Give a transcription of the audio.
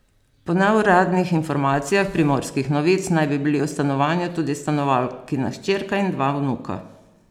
Po neuradnih informacijah Primorskih novic naj bi bili v stanovanju tudi stanovalkina hčerka in dva vnuka.